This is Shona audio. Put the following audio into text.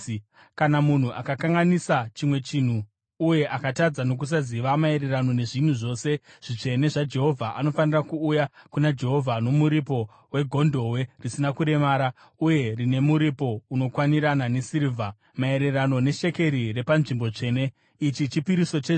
“Kana munhu akakanganisa chimwe chinhu uye akatadza nokusaziva maererano nezvinhu zvose zvitsvene zvaJehovha, anofanira kuuya kuna Jehovha nomuripo wegondobwe risina kuremara, uye rine muripo unokwanirana nesirivha, maererano neshekeri repanzvimbo tsvene . Ichi chipiriso chezvivi.